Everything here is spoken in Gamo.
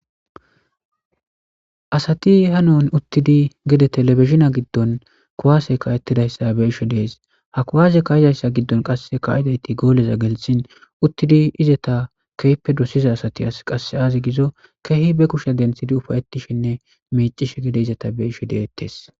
Asati hanon utidi gete telebijine gidon kuwase kae'tidaysa bei'she detes ha kuwase kai'daysata gidon gole gelsin ufaytishe utidi izata kehippe dosiza asati ay gizo kehi ba kushe dentidi ufaytishenne micishe dizaysata bei'she detes